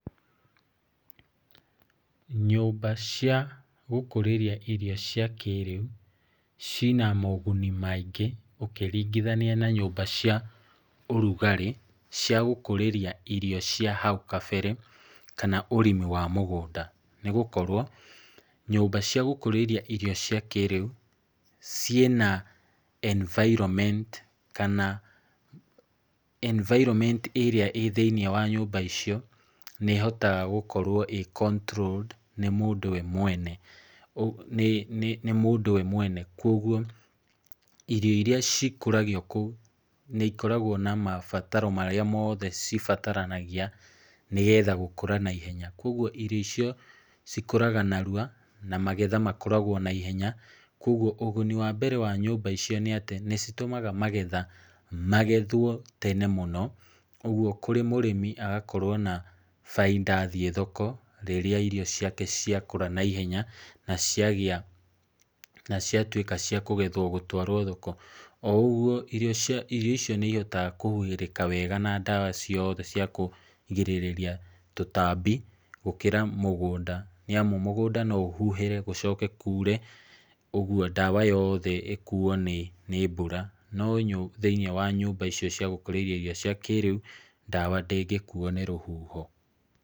Nyũmba cia gũkũrĩria irio cia kĩĩrĩu ciĩna moguni maingĩ ũkĩringithania na nyũmba cia ũrugarĩ cia gũkũrĩria irio cia hau kabere kana ũrĩmi wa mũgũnda. Nĩ gũkorwo nyũmba cia gũkũrĩria irĩo cia kĩĩrĩu ciĩna environment kana environment ĩrĩa ĩĩ thĩinĩ wa nyũmba icio nĩ ĩhotaga gũkorwo ĩĩ controlled nĩ mũndũ we mwene. Kwoguo irio irĩa cikũragio kũu nĩ ikoragwo na mabataro marĩa mothe cibataranagia nĩgetha gũkũra naihenya. Kwoguo irio icio cikũraga narua na magetha makoragwo naihenya. Kwoguo ũguni wa mbere wa nyũmba icio nĩ atĩ nĩ citũmaga magetha magethwo tene mũno. Ũguo kũrĩ mũrĩmi agakorwo na baita athiĩ thoko rĩrĩa irio ciake ciakũra naihenya na ciatuĩka cia kũgethwo gũtũarwo thoko. O ũguo irio icio nĩ ihotekaga kũhuhĩrĩka wega na ndawa ciothe cia kũgirĩrĩria tũtaambi gũkĩra mũgũnda. Nĩ amũ mũgũnda no ũhuhĩre gũcoke kure, ũguo ndawa yothe ĩkuo nĩ mbura. No thĩinĩ wa nyũmba icio cia gũkũrĩria irio cia kĩĩrĩu ndawa ndĩngĩkuo nĩ rũhuho.